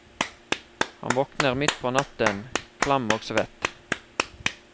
Han våkner midt på natten, klam og svett.